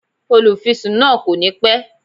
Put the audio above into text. Olúfisún náà kò ní pẹ́